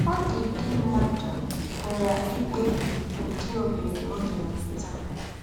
Ọ́dị́dị̀ mmádụ̀ pụ̀rà íkpèbí ứdị̀ ọ̀hérẹ̀ ọ́ gà-ènwètà.